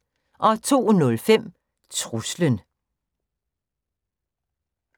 02:05: Truslen